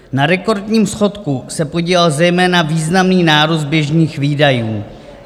Na rekordním schodku se podílel zejména významná nárůst běžných výdajů.